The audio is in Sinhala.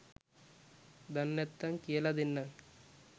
දන්නැත්තං කියල දෙන්නං